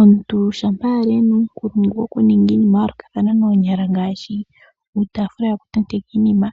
Omuntu shampa ali ena uunkulungu woku ninga iinima ya yoolokathana noonyala ngaashi uutaafula woku tendeka iinima,